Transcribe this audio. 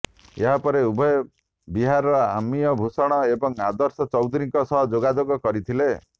ଏହାପରେ ଉଭୟ ବିହାରର ଅମିୟ ଭୂଷଣ ଏବଂ ଆଦର୍ଶ ଚୌଧୁରୀଙ୍କ ସହ ଯୋଗାଯୋଗ କରିଥିଲେ